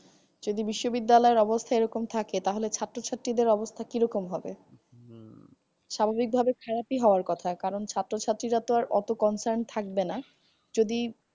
যদি বিশ্ব বিদ্যালয়ের অবস্হা এরকম থাকে তাহলে ছাত্রছাত্রীদের অবস্হা কিরকম হবে? স্বাভাবিক ভাবে বিদেশি হওয়ার কথা কারণ ছাত্র ছাত্রীরা অতো কম time থাকবেনা যদি।